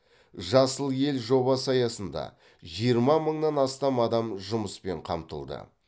жасыл ел жобасы аясында жиырма мыңнан астам адам жұмыспен қамтылды